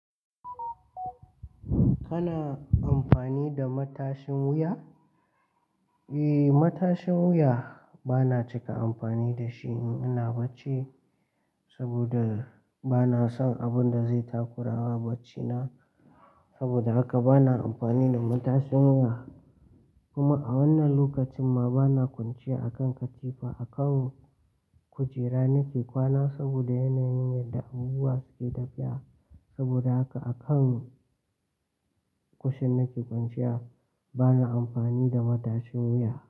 Kana amfani da matashin wuya? Eh, matashin wuya bana cika amfani da shi in ina bacci saboda bana son abun da zai takurawa baccina. Saboda haka bana amfani da matashin wuya. Kuma a wannan lokacin ma bana kwanciya a kan katifa, a kan kujera nake kwana saboda yanayin yadda abubuwa suke tafiya. Saboda haka a kan kushin nake kwanciya bana amfani da matashin wuya.